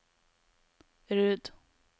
Rud